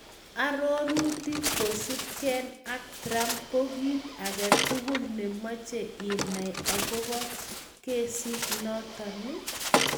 Arorutik kosupken ak Trump ;ko kit agetugul nemoche inai akobo kesit noton ii